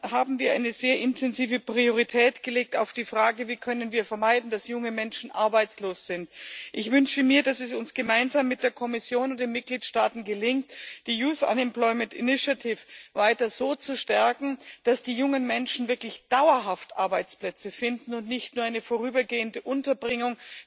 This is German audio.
haben wir eine sehr intensive Priorität auf die Frage gelegt, wie wir vermeiden können, dass junge Menschen arbeitslos sind. Ich wünsche mir, dass es uns gemeinsam mit der Kommission und den Mitgliedstaaten gelingt, die Youth Employment Initiative weiter so zu stärken, dass die jungen Menschen wirklich dauerhaft Arbeitsplätze finden und nicht nur eine vorübergehende Unterbringung.